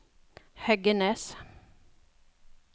Heggenes